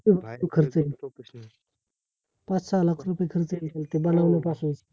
खूप खूप खर्च येईल, पाच-सहा लाख रूपए खर्च येईल, ते बनवण्यापासून